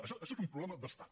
això és un problema d’estat